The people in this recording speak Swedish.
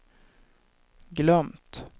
glömt